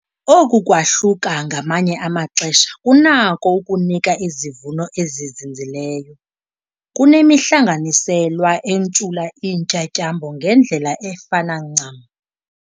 Oku kwahluka ngamanye amaxesha kunako ukunika izivuno ezizinzileyo kunemihlanganiselwa entshula iintyatyambo ngendlela efana ncam.